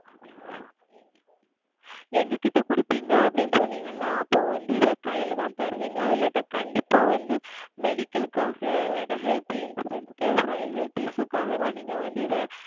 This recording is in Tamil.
எங்களிடம் கொடுப்பீர்கள் அப்படி என்று சொன்னீர்கள் அல்லவா அப்பொழுது வந்து இதை கைகளில் தான் தருவீர்களா இல்லை என்றால் கண்டிப்பாக வந்து Medical க்காக Health Insurance ah SorryHealth Issue க்காக தான் நீங்கள் வந்து இதை